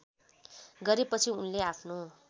गरेपछि उनले आफ्नो